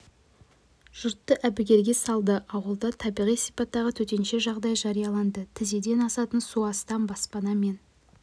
жұртты әбігерге салды ауылда табиғи сипаттағы төтенше жағдай жарияланды тізеден асатын су астам баспана мен